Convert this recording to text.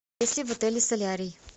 есть ли в отеле солярий